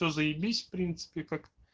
то заебись в принципе как